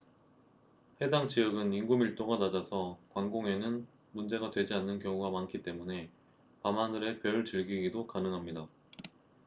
해당 지역은 인구 밀도가 낮아서 광공해는 문제가 되지 않는 경우가 많기 때문에 밤하늘의 별 즐기기도 가능합니다